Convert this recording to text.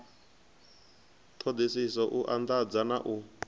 ṱhoḓisiso u anḓadza na u